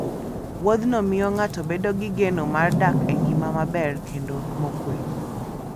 Wuodhno miyo ng'ato bedo gi geno mar dak e ngima maber, kendo mokuwe.